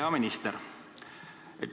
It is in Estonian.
Hea minister!